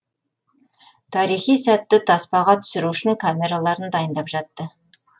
тарихи сәтті таспаға түсіру үшін камераларын дайындап жатты